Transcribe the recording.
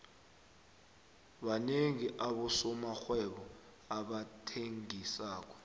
banengi abosomarhwebo abathengisako